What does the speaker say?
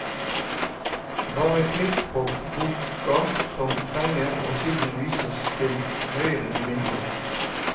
Bare klikk på boka som fenger og siden vises til høyre i vinduet.